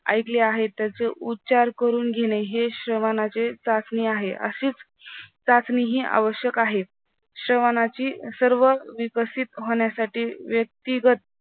ऐकले आहे त्याचे उच्चार करून घेणे हे श्रावणाची चाचणी आहे असेच चाचणी हे आवश्यक आहे. श्रावणाची सर्व विकसित होण्यासाठी व्यक्तिगत